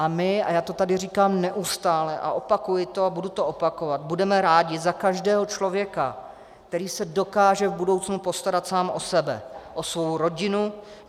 A my - a já to tady říkám neustále a opakuji to a budu to opakovat - budeme rádi za každého člověka, který se dokáže v budoucnu postarat sám o sebe, o svou rodinu.